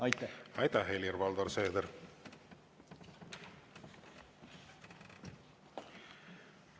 Aitäh, Helir-Valdor Seeder!